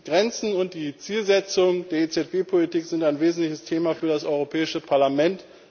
Die Grenzen und die Zielsetzungen der EZB Politik sind ein wesentliches Thema für das Europäische Parlament.